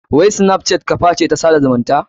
Wai snapchat kaface na tsada zumunta?